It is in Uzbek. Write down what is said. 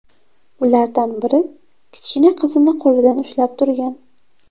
Ulardan biri kichkina qizini qo‘lidan ushlab turgan.